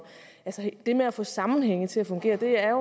det med at få sammenhænge til at fungere er